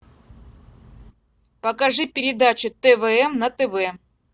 покажи передачу твм на тв